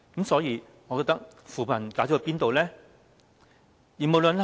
所以，扶貧的成果在哪裏呢？